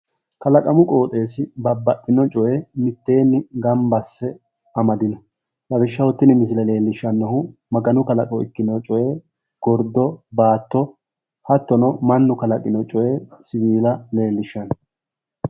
Kalaqamu qooxeessi babbaxino coye mitteenni gambba asse amadino. Lawishshaho tini misile leellishshannohu maganu kalaqo ikkino coye gordo, baatto hattono mannu kalaqino coyee siwiila leellishshanno.